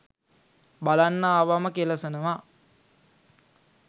බලන්න ආවම කෙළසනවා